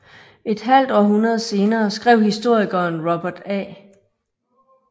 Et halvt århundrede senere skrev historikeren Robert A